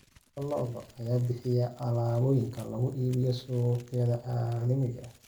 Lo'da lo'da ayaa bixiya alaabooyinka lagu iibiyo suuqyada caalamiga ah.